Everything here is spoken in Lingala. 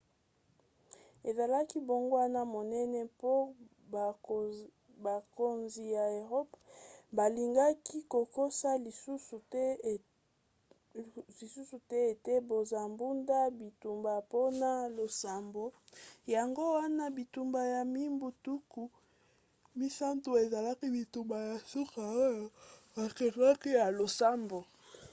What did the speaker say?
ezalaki mbongwana monene mpo bakonzi ya eropa balingaki kokosa lisusu te ete bazobunda bitumba mpona losambo. yango wana bitumba ya mibu tuku misato ezalaki bitumba ya suka oyo babengaki ya losambo